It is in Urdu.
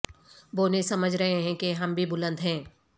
بونے سمجھ رہے ہیں کہ ہم بھی بلند ہیں